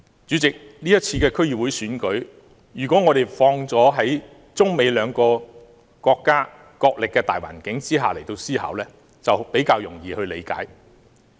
主席，如果我們把今次區議會選舉，置於中美兩國角力的大環境下思考，就會比較容易理解。